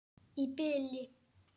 Í bili.